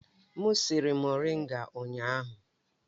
M siri moringa ụnyahụ.